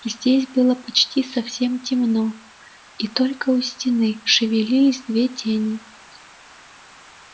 здесь было почти совсем темно и только у стены шевелились две тени